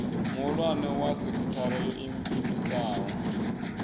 muhulwane wa sekithara yo iimisaho